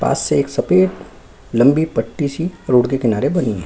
पास से एक सफेद लंबी पट्टी सी रोड के किनारे बनी है।